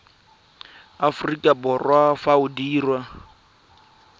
aforika borwa fa o dirwa